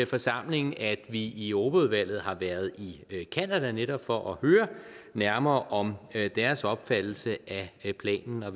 forsamlingen at vi i europaudvalget har været i canada netop for at høre nærmere om deres opfattelse af planen og